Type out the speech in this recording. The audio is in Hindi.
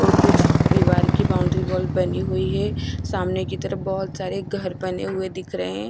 और कुछ दीवार की बॉन्डरी वॉल बनी हुई है सामने की तरफ बहुत सारे घर बने हुए दिख रहे हैं।